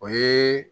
O ye